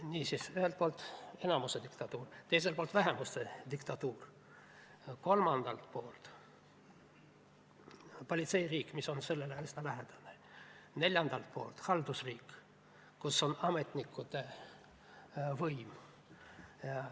Niisiis, ühelt poolt enamuse diktatuur, teiselt poolt vähemuse diktatuur, kolmandalt poolt politseiriik, mis on sellele üsna lähedane, neljandalt poolt haldusriik, kus on ametnike võim.